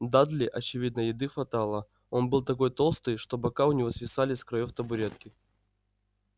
дадли очевидно еды хватало он был такой толстый что бока у него свисали с краёв табуретки